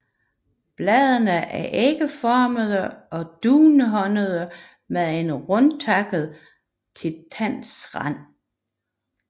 Bladene er ægformede og dunhårede med en rundtakket til tandet rand